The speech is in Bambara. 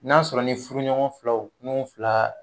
N'a sɔrɔ ni furuɲɔgɔn filaw n'u fila